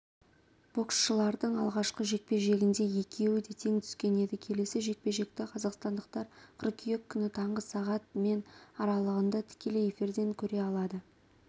боксшылардың алғашқы жекпе-жегінде екеуі де тең түскен еді келесі жекпе-жекті қазақстандықтар қыркүйек күні таңғы сағат мен аралығында тікелей эфирден көре алады